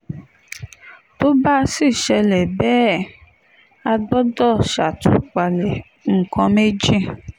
tó bá sì ṣẹlẹ̀ bẹ́ẹ̀ á gbọ́dọ̀ ṣàtúpalẹ̀ nǹkan méjì